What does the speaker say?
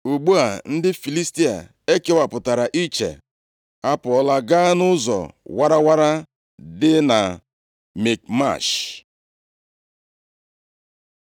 Ugbu a ndị Filistia e kewapụtara iche a pụọla gaa nʼụzọ warawara dị na Mikmash.